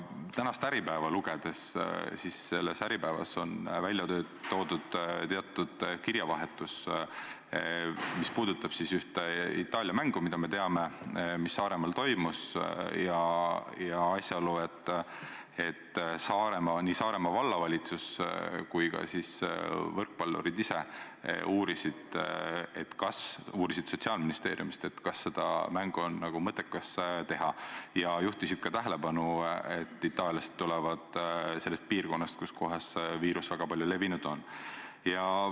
Tänases Äripäevas on välja toodud teatud kirjavahetus, mis puudutab ühte Itaalia mängu, mis, me teame, Saaremaal toimus, ja asjalugu, et nii Saaremaa Vallavalitsus kui ka võrkpallurid ise uurisid Sotsiaalministeeriumist, kas seda mängu on mõttekas teha, ja juhtisid ka tähelepanu, et itaallased tulevad sellest piirkonnast, kus viirus väga palju levinud on.